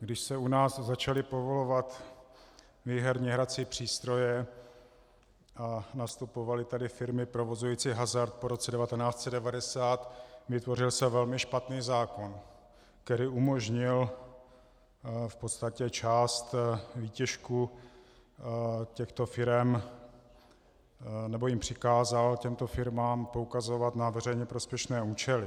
Když se u nás začaly povolovat výherní hrací přístroje a nastupovaly tady firmy provozující hazard po roce 1990, vytvořil se velmi špatný zákon, který umožnil v podstatě část výtěžku těchto firem, nebo jim přikázal, těmto firmám, poukazovat na veřejně prospěšné účely.